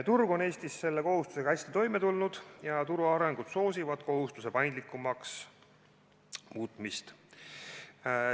Turg on Eestis selle kohustusega hästi toime tulnud ja turu areng soosib kohustuse paindlikumaks muutmist.